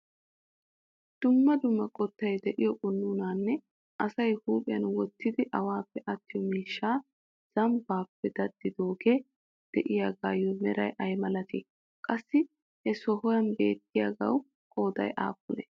dumma dumma qottay de'iyo qunuunanne asay huphiyan wottidi awappe attiyo miishsha zambbappe dadidooge de'iyaagayyo meray ay malatii? qassi he sohuwan beettiyaagaw qooday aappune?